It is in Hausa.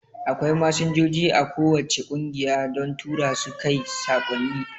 Akwai Masinjoji a ko wacce kungiya don Turasu kai saƙonni